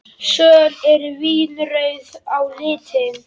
Söl eru vínrauð á litinn.